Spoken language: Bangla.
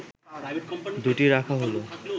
দু’টি রাখা হলো